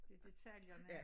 Det detaljerne